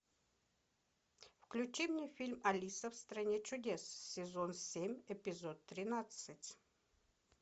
включи мне фильм алиса в стране чудес сезон семь эпизод тринадцать